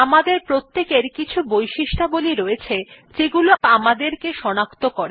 আমাদের প্রত্যেকের কিছু বৈশিষ্ট্যাবলী রয়েছে যেগুলি আমাদেরকে সনাক্ত করে